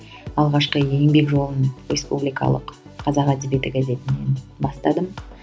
алғашқы еңбек жолын республикалық қазақ әдебиеті газетінен бастадым